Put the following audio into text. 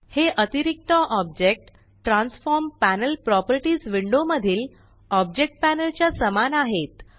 हे अतिरिक्त object transform panel properties window मधील ऑब्जेक्ट पॅनल च्या समान आहेत